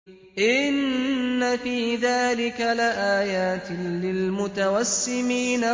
إِنَّ فِي ذَٰلِكَ لَآيَاتٍ لِّلْمُتَوَسِّمِينَ